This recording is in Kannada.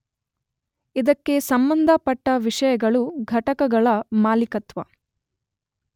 ಇದಕ್ಕೆ ಸಂಬಂಧಪಟ್ಟ ವಿಷಯಗಳು ಘಟಕಗಳ ಮಾಲೀಕತ್ವ